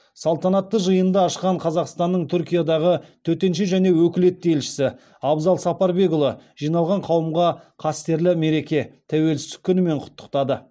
салтанатты жиынды ашқан қазақстанның түркиядағы төтенше және өкілетті елшісі абзал сапарбекұлы жиналған қауымға қастерлі мереке тәуелсіздік күнімен құттықтады